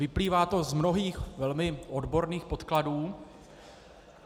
Vyplývá to z mnohých velmi odborných podkladů.